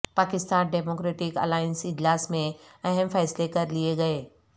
Pakistan democratic alliance اجلاس میں اہم فیصلے کر لیے گئے